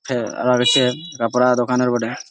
ফের আর আছে কাপড়া দোকানে বটে।